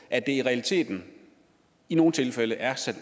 at de i realiteten i nogle tilfælde er sat